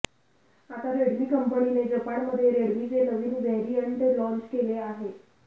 आता रेडमी कंपनीने जपानमध्ये रेडमीचे नवीन व्हेरियंट लाँच केले आहे